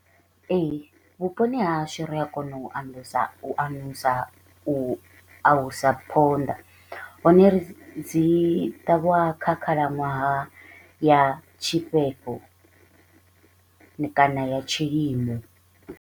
Ee, vhuponi ha hashu ri a kona u u u alusa phonḓa hone ri dzi ṱavhiwa kha khalaṅwaha ya tshifhefho kana ya tshilimo.